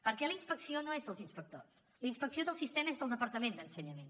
perquè la inspecció no és dels inspectors la inspecció del sistema és del departament d’ensenyament